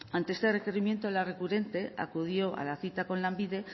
ante este requerimiento la recurrente acudió a la cita con lanbide